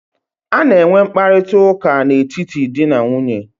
A na-enwe mkparịta ụka n'etiti di na nwunye.